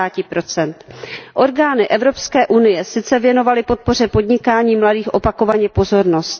50 Orgány Evropské unie sice věnovaly podpoře podnikání mladých opakovaně pozornost.